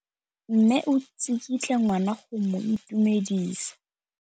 Mme o tsikitla ngwana go mo itumedisa.